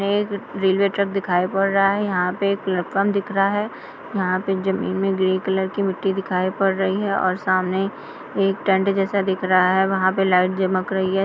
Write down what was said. यहां पर एक रेलवे ट्रैक दिखाई पड़ रहा है| यहां पर एक प्लेटफार्म दिख रहा है| यहां पर जमीन पर ग्रे कलर की मिट्टी दिखाई दे रही है| सामने एक टेंट जैसा दिख रहा है वहां लाइट चमक रही है।